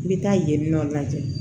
N bɛ taa yen nɔ lajɛ